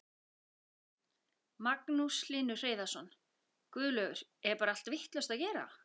Magnús Hlynur Hreiðarsson: Guðlaugur, er bar allt vitlaust að gera?